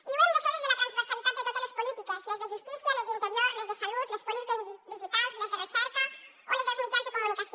i ho hem de fer des de la transversalitat de totes les polítiques les de justícia les d’interior les de salut les polítiques digitals les de recerca o les dels mitjans de comunicació